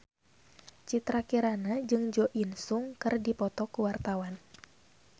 Citra Kirana jeung Jo In Sung keur dipoto ku wartawan